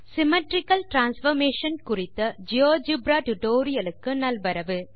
symmetrical transformation குறித்த GeoGebra tutorial க்கு நல்வரவு